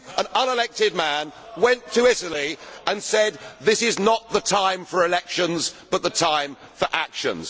You, an unelected man, went to Italy and said that this is not the time for elections but the time for actions.